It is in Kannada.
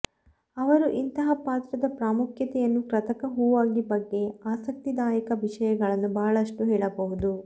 ಅವರು ಇಂತಹ ಪಾತ್ರದ ಪ್ರಾಮುಖ್ಯತೆಯನ್ನು ಕೃತಕ ಹೂವಾಗಿ ಬಗ್ಗೆ ಆಸಕ್ತಿದಾಯಕ ವಿಷಯಗಳನ್ನು ಬಹಳಷ್ಟು ಹೇಳಬಹುದು